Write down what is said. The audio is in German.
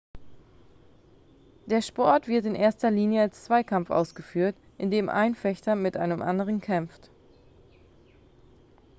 der sport wird in erster linie als zweikampf ausgeführt indem ein fechter mit einem anderen kämpft